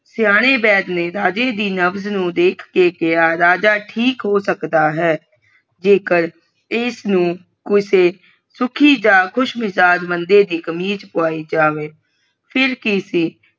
ਸਿਆਣੇ ਵੈਦ ਰੇ ਰਾਜੇ ਸੀ ਨਬਜ ਨੂੰ ਵੇਖ ਕੇ ਕਿਹਾ ਰਾਜਾ ਠੀਕ ਹੋ ਸਕਦਾ ਹੈ ਜੇ ਕਰ ਇਸ ਨੂੰ ਕਿਸੇ ਸੁਖੀ ਜਾ ਖੁਸ਼ਮਿਜਾਜ਼ ਬੰਦੇ ਦੀ ਕਮੀਜ ਪਾਵਈ ਜਾਵੇ ਫੇਰ ਕਿ ਸੀ